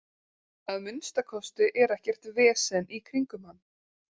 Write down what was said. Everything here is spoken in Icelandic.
Að minnsta kosti er ekkert vesen í kringum hann.